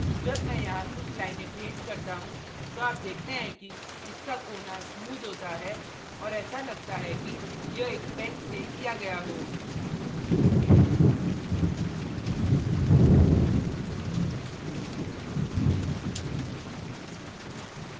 जब मैं यहाँ कुछ लाइनें paint करता हूँ तो आप देखते हैं कि इसका कोना smooth होता है और ऐसा लगता है कि यह एक pen से किया गया हो